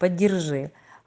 подержи